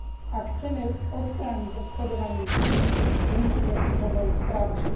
Ak chceme odstrániť obchodovanie s ľuďmi, musíme si hovoriť pravdu.